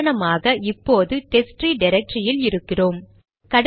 உதாரணமாக இப்போது டெஸ்ட்ட்ரீ டிரக்டரியில் இருக்கிறோம்